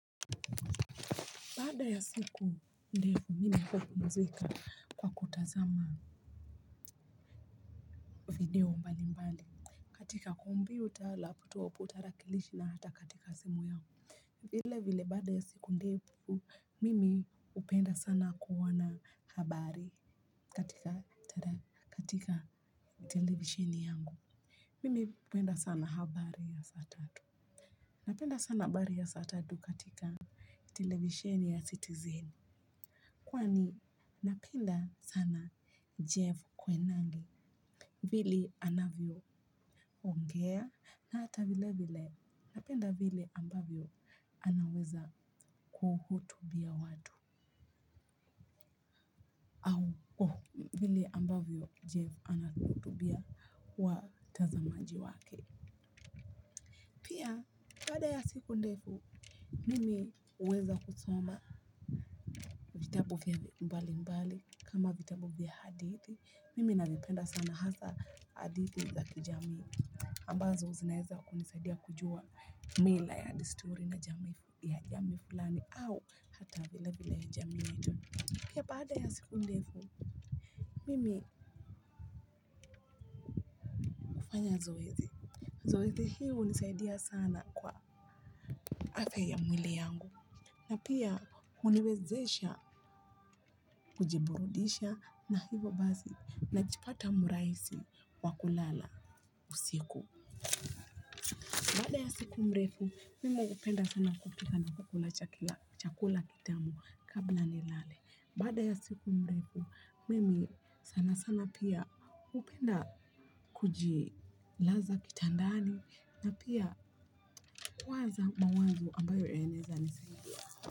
Baada ya siku ndefu, ninapopumzika kwa kutazama, video mbali mbali. Katika kompyuta, laputopu, tarakilishi na hata katika simu yangu. Vile vile baada ya siku ndefu, mimi hupenda sana kuona habari katika televisheni yangu. Mimi hupenda sana habari ya saa tatu. Napenda sana habari ya saa tatu katika televisheni ya sitizeni. Kwani napenda sana jeff koinange, vile anavyo ongea na hata vile vile napenda vile ambavyo anaweza, kuhutubia watu, au vile ambavyo Jeff anahutubia watazamaji wake. Pia, baada ya siku ndefu, mimi huweza kusoma vitabu mbali mbali kama vitabu vya hadithi. Mimi navipenda sana hasa hadithi za kijamii. Ambazo zinaeza kunisadia kujua mila ya disturi na jamii fulani au hata vile vile jamii yetu. Pia, baada ya siku ndefu, mimi hufanya zoezi. Zoezi hii hunisadia sana kwa afya ya mwili yangu. Na pia huniwezesha kujiburudisha na hivo basi najipata mraisi wa kulala usiku. Baada ya siku mrefu, mimi hupenda sana kupika na kukula chakula kitamu kabla nilale. Bada ya siku mrefu, mimi sana sana pia hupenda kujilaza kitandani na pia, kuwaza mawazo ambayo yanaeza nisaidia.